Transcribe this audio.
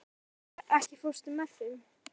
Nadía, ekki fórstu með þeim?